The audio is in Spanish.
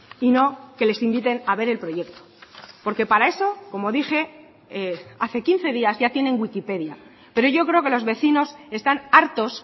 y no que les inviten a ver el proyecto porque para eso como dije hace quince días ya tienen wikipedia pero yo creo que los vecinos están hartos